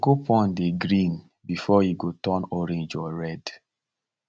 cocoa pod dey green before e go turn orange or red